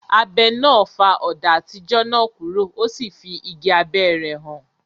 Abẹ náà fá ọ̀dà àtijọ́ náà kúrò, o sì fí igi abẹ́ rẹ̀ hàn.